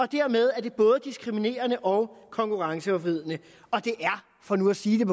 dermed både diskriminerende og konkurrenceforvridende og det er for nu at sige